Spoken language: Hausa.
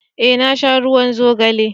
eh na sha ruwan zogale